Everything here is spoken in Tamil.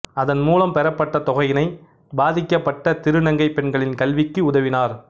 அதன்மூலம் பெறப்பட்ட தொகையினை பாதிக்கப்பட்ட திருநங்கை பெண்களின் கல்விக்கு உதவினார்